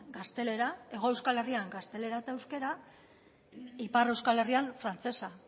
gaztelera hego euskal herrian gaztelera eta euskara ipar euskal herrian frantsesa